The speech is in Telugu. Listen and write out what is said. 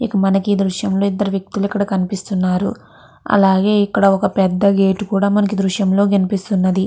ఇక మనకి ఈ దృశ్యం లో ఇద్దరు వ్యక్తులు కనిపిస్తున్నారు. అలాగే ఇక్కడ ఒక పెద్ద గేట్ కూడా మనకి ఈ దృశ్యంలో కనిపిస్తూ ఉన్నది.